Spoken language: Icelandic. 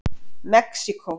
Mexíkó